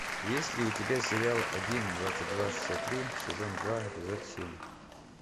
есть ли у тебя сериал один двадцать два шестьдесят три сезон два эпизод семь